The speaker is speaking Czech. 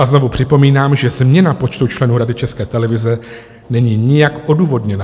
A znovu připomínám, že změna počtu členů Rady České televize není nijak odůvodněná.